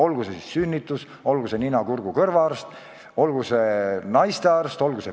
Me vajame sünnitusosakondi, me vajame nina-, kurgu- ja kõrvaarste, naistearste ja meestearste, ükskõik mis arste.